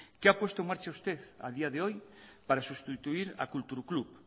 qué ha puesto en marcha usted a día de hoy para sustituir a kultur klub